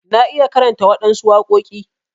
Na iya karanta waɗansu waƙoki.